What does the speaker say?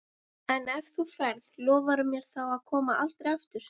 En ef þú ferð, lofaðu mér þá að koma aldrei aftur.